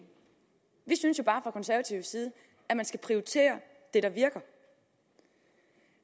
vi synes jo bare fra konservativ side at man skal prioritere det der virker